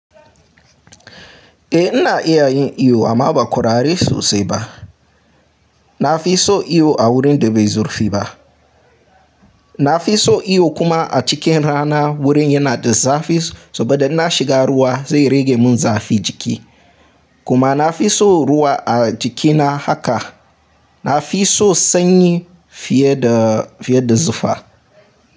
Eh ina iya yin iyo amma ba ƙwararre sosai ba. Na fi so iyo a wurin da bai zurfi ba. Na fi so iyo kuma a cikin rana wurin yana da zafi saboda in na shiga ruwa zai rage mun zafin jiki. Kuma na fi so ruwa a jikina haka. Na fi so sanyi fiye fiye da zufa.